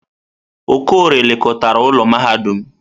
Okorie lekọtara ụlọ mahadum.